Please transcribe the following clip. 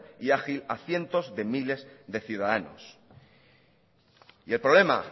y ágil a cientos de miles de ciudadanos y el problema